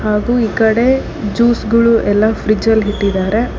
ಹಾಗೂ ಈ ಕಡೆ ಜ್ಯೂಸ್ ಗಳು ಎಲ್ಲಾ ಫ್ರಿಡ್ಜ್ಯ ಲ್ಲಿ ಇಟ್ಟಿದ್ದಾರೆ.